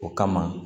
O kama